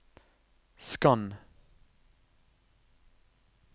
skann